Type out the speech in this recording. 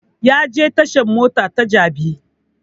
Ya je tashan mota ta jabi